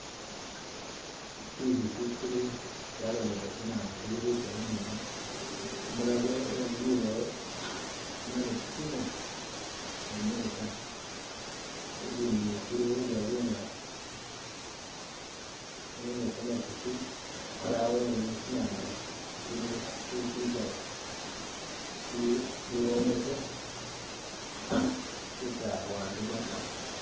Tsikhisi tsili tsyalolelele sinanu sili khutsya mumoni, umulabe wengilewo tsimale tsi'time namwe ta, itsindi tsili khulya bunyaasi nenga kamakesi kaweleyo shinanu sili khutsitsayo, tsi tsiwonese khuta khuwambibwa ta